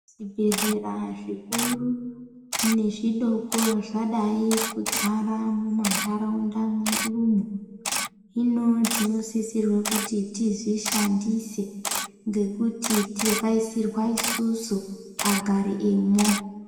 Zvibhedhlera zvikuru nezvidoko zvadai kudzara mumandaraunda, hino tinosisirwe kuti tizvishandise ngekuti takaisirwa isusu agari emwo